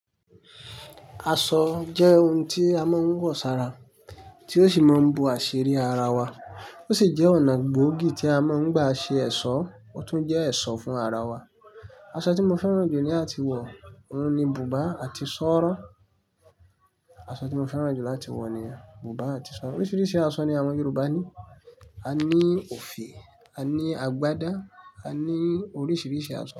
Aṣọ jẹ́ ohun tí a máa ń wọ̀ sára, tí ó sì máa ń bo àṣírí ara wa. Ó sì jẹ́ ọ̀nà gbòógì tí a máa ń gbà ṣe ẹ̀ṣọ́, ó tún jẹ́ ẹ̀ṣọ́ fún ara wa. Aṣọ tí mo fẹ́ràn jù ní àti wọ̀, òun ni bùbá àti ṣọ́ọ́ ọ́rọ̀. Aṣọ tí mo fẹ́ràn jù láti wọ̀ ni bùbá àti ṣọ́ọ́ ọ́rọ̀. Oríṣiríṣi aṣọ ni àwọn Yorùbá ní. A ní òfì, a ní àgbádá, a ní oríṣiríṣi aṣọ.